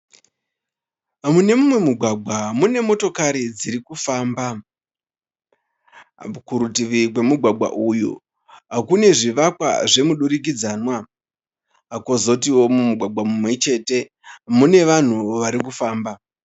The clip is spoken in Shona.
Munemumwe mugwagwa mune motokoro dzirikufamba. Kurutivi gwemugwagwa uyu kune zvivakwa zvemudurikidzanwa. Kozotiwo mumugwagwa mumwe chete mune vanhu varikufamba.